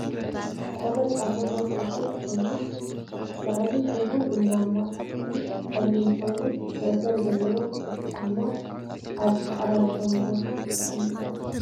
ቆዳ ፃማ ናይ ሰብኡት ኮይኑ ላዕሊ ሕብሩ ቡናማ ታሕቱ ፀሊም ኮይኑ መእሰሪ ዜለዎ ትሑት ጫማ ኣብ ፃዕዳ ዝኮነ ቦታ ተቀሚጡ ኣሎ።